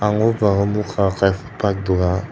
bwskango nukha khe bike dukan.